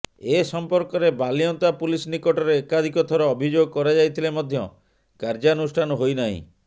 ଏ ସମ୍ପର୍କରେ ବାଲିଅନ୍ତା ପୁଲିସ ନିକଟରେ ଏକାଧିକ ଥର ଅଭିଯୋଗ କରାଯାଇଥିଲେ ମଧ୍ୟ କାର୍ୟ୍ୟାନୁଷ୍ଠାନ ହୋଇ ନାହିଁ